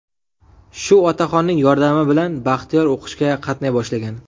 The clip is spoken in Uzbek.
Shu otaxonning yordami bilan Baxtiyor o‘qishga qatnay boshlagan.